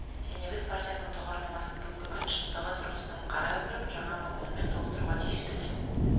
және біз партияның тұғырнамасын бүгінгі күн шындығы тұрғысынан қарай отырып жаңа мазмұнмен толықтыруға тиіспіз